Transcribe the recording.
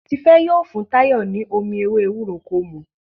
Tife yíò fún Tayo ní omí ewé ewúro kò mú.